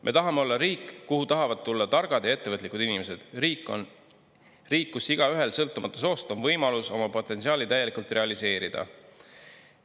Me tahame olla riik, kuhu tahavad tulla targad ja ettevõtlikud inimesed, riik, kus igaühel, sõltumata soost, on võimalus oma potentsiaali täielikult realiseerida.